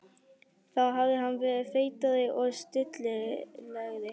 Þá hafði hann verið feitari og stillilegri.